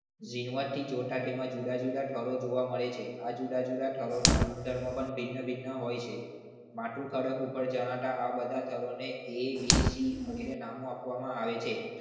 જીણવટ થી જોતા તેમાં જુદા જુદા થર જોવા મળે છે આ જુદા જુદા સ્થળોના ગુણધર્મ પણ ભિન્ન ભિન્ન હોય છે. આટલું કડક ઉપર જણાતા આ બધા સ્થળોને એ બી સી એ રીતે નામો આપવામાં આવે છે.